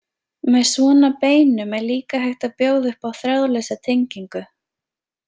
Með svona beinum er líka hægt að bjóða upp á þráðlausa tengingu.